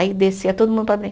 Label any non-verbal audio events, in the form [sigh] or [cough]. Aí descia todo mundo para [unintelligible]